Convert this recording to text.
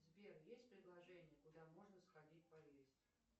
сбер есть предложение куда можно сходить поесть